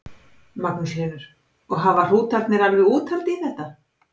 Magnús Hlynur: Og hafa hrútarnir alveg úthald í þetta?